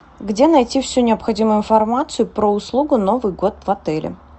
где найти всю необходимую информацию про услугу новый год в отеле